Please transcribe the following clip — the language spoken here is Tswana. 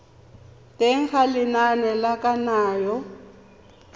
teng ga lenane la kananyo